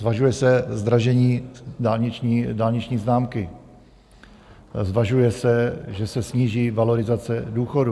Zvažuje se zdražení dálniční známky, zvažuje se, že se sníží valorizace důchodů.